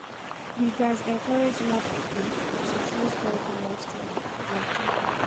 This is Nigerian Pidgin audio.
We gats encourage more pipo to choose healthy lifestyle, na true.